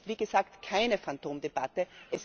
Und das ist, wie gesagt, keine Phantomdebatte!